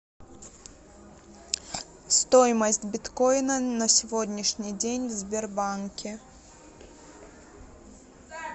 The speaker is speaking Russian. стоимость биткоина на сегодняшний день в сбербанке